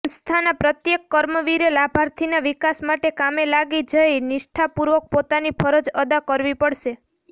સંસ્થાના પ્રત્યેક કર્મવીરે લાભાર્થીના વિકાસ માટે કામે લાગી જઈ નિષ્ઠાપૂર્વક પોતાની ફરજ અદા કરવી પડશે